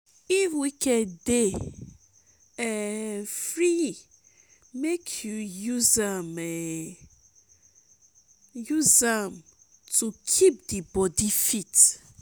if weekend dey um free mek yu use um am to kip di bodi fit